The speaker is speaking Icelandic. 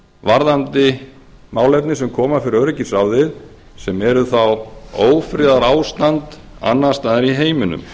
varðandi málefni sem koma fyrir öryggisráðið sem eru þá ófriðarástand annars staðar í heiminum